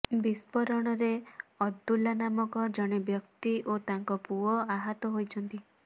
ବିସ୍ଫୋରଣରେ ଅବ୍ଦୁଲା ନାମକ ଜଣେ ବ୍ୟକ୍ତି ଓ ତାଙ୍କ ପୁଅ ଆହତ ହୋଇଛନ୍ତି